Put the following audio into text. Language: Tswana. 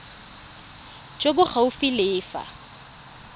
jo bo gaufi le fa